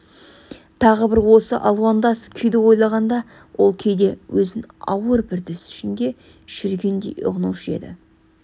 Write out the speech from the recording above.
тағы бір осы алуандас күйді ойлағанда ол кейде өзін ауыр бір түс ішінде жүргендей ұғынушы еді